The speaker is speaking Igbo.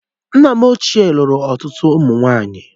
Nna m ochie lụrụ ọtụtụ ụmụ nwaanyị